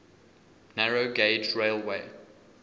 narrow gauge railway